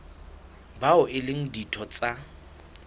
bao e leng ditho tsa